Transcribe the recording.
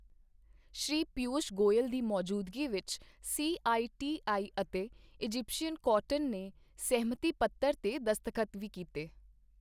ਸ਼੍ਰੀ ਪੀਯੂਸ਼ ਗੋਇਲ ਦੀ ਮੌਜੂਦਗੀ ਵਿੱਚ ਸੀਆਈਟੀਆਈ ਅਤੇ ਇਜਿਪਸ਼ੀਅਨ ਕੋਟਨ ਨੇ ਸਹਿਮਤੀ ਪੱਤਰ ਤੇ ਦਸਤਖਤ ਵੀ ਕੀਤੇ।